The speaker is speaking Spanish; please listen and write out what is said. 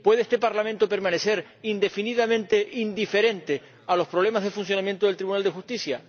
¿Puede este Parlamento permanecer indefinidamente indiferente a los problemas de funcionamiento del Tribunal de Justicia?